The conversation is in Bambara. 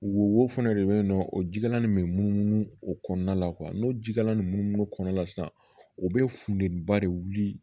Wo fɛnɛ de be yen nɔ o jikalan nin bɛ munumunu o kɔnɔna la n'o jikalalan nunnu kɔnɔna la sisan o be funteniba de wuli